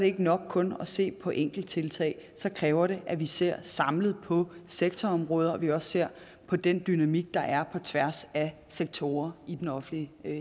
ikke nok kun at se på enkelttiltag så kræver det at vi ser samlet på sektorområder og at vi også ser på den dynamik der er på tværs af sektorer i den offentlige